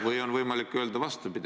... või on võimalik öelda vastupidi.